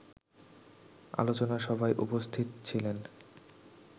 আলোচনা সভায় উপস্থিত ছিলেন